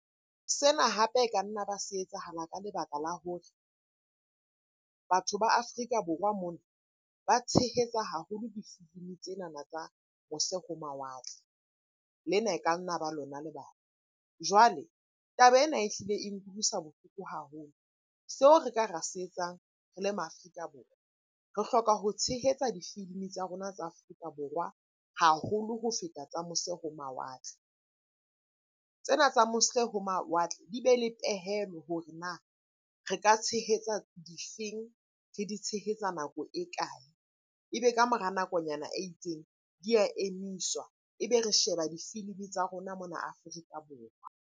Sena hape e ka nna ba se etsahala ka lebaka la hore batho ba Afrika Borwa mona ba tshehetsa haholo difilimi tsenana tsa mose ho mawatle, lena e ka nna ba lona lebaka. Jwale taba ena ehlile e nkutlwisa bohloko haholo. Seo re ka ra se etsang re le ma Afrika Borwa, re hloka ho tshehetsa difilimi tsa rona tsa Afrika Borwa haholo ho feta tsa mose ho mawatle. Tsena tsa mose ho mawatle di be le pehelo hore na re ka tshehetsa difeng? Re di tshehetsa nako e kae? E be ka mora nakonyana e itseng, di a emiswa ebe re sheba difilimi tsa rona mona Afrika Borwa.